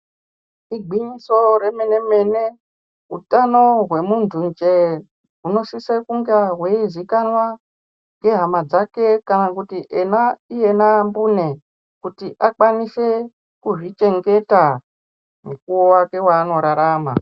Igwinyiso remenemene utano hwemuntu njee hunosise kunge hweizikanwa ngehama dzake kana kuti ena iyena mbune kuti akwanise kuzvichengeta mukuwo wake waanorarama.